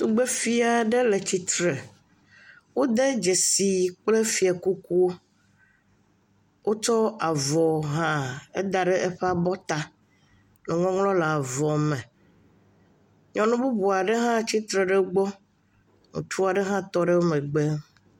Tugbefai ɖe le tsitre. Wode dzesi kple fia kukuwo. Wotsɔ avɔ hã eda ɖe eƒe abɔ ta. Eŋɔŋlɔ le avɔ me. Nyɔnu bubua ɖwe hã tsitre ɖe egbɔ.